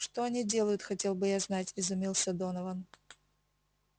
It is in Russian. что они делают хотел бы я знать изумился донован